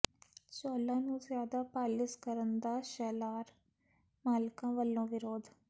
ਚੌਲਾਂ ਨੂੰ ਜ਼ਿਆਦਾ ਪਾਲਿਸ਼ ਕਰਨ ਦਾ ਸ਼ੈਲਰ ਮਾਲਕਾਂ ਵੱਲੋਂ ਵਿਰੋਧ